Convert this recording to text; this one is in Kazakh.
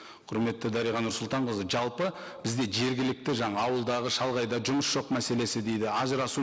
құрметті дариға нұрсұлтанқызы жалпы бізде жергілікті жаңа ауылдағы шалғайда жұмыс жоқ мәселесі дейді ажырасу